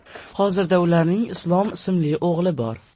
Hozirda ularning Islom ismli o‘g‘li bor.